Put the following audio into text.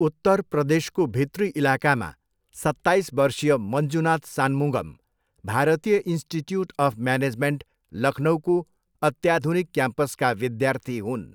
उत्तर प्रदेशको भित्री इलाकामा सत्ताइस वर्षीय मञ्जुनाथ सान्मुगम भारतीय इन्स्टिच्युट अफ् म्यानेजमेन्ट लखनउको अत्याधुनिक क्याम्पसका विद्यार्थी हुन्।